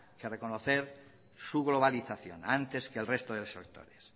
que reconocer su globalización antes que el resto de los sectores